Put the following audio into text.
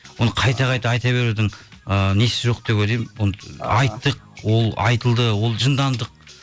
оны қайта қайта айта берудің ііі несі жоқ деп ойлаймын оны айттық ол айтылды ол жындандық